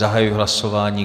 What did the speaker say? Zahajuji hlasování.